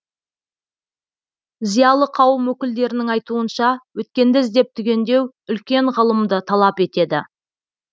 зиялы қауым өкілдерінің айтуынша өткенді іздеп түгендеу үлкен ғылымды талап етеді